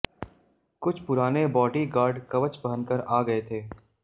कु छ पुराने बॉडी गार्ड कवच पहनकर आ गए थे